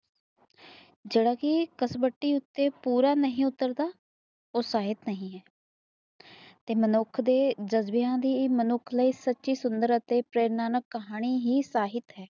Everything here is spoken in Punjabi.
ਜਿਹੜਾ ਕੀ ਕਸਬਟੀ ਉਤੇ ਪੂਰਾ ਨਹੀ ਉਤਰਤਾ ਉਹ ਸਾਹਿਤ ਨਹੀ ਹੈ ਤੇ ਮਨੁੱਖ ਦੇ ਜਜਬੇ ਦੀ ਏ ਮਨੁੱਖ ਲਯੀ ਸੱਚੀ ਸੁੰਦਰ ਅੱਤੇ ਪ੍ਰੇਰਨਾ ਕਹਾਣੀ ਹੀ ਸਾਹਿਤ ਹੈ